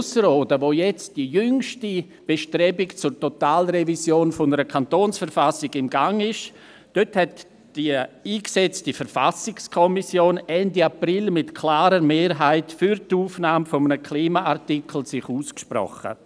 Ausserrhoden, wo jetzt die jüngste Bestrebung zur Totalrevision der Kantonsverfassung im Gange ist, hat sich die eingesetzte Verfassungskommission Ende April mit klarer Mehrheit für die Aufnahme eines Klimaartikels ausgesprochen.